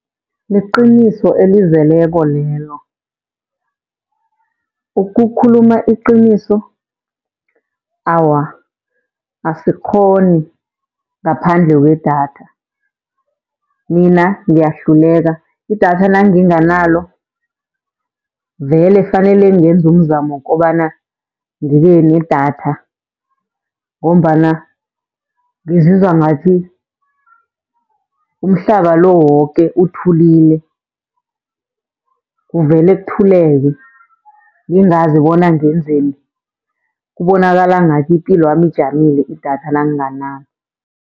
Liqiniso elizeleko lelo. Ukukhuluma iqiniso, awa asikghoni ngaphandle kwedatha, mina ngiyahluleka. Idatha nanginganalo vele fanele ngenze umzamo wokobana ngibe nedatha, ngombana ngizizwa ngathi umhlaba lo woke uthulile. Kuvele kuthuleke ngingazi bona ngenzeni, kubonakala ngathi ipilwami ijamile idatha nanginganalo.